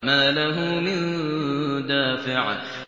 مَّا لَهُ مِن دَافِعٍ